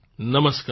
નમસ્કાર